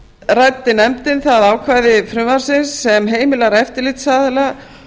ræddi nefndin það ákvæði frumvarpsins sem heimilar eftirlitsaðila